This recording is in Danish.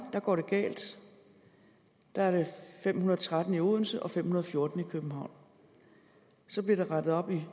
går det galt der er der fem hundrede og tretten i odense og fem hundrede og fjorten i københavn så bliver der rettet op i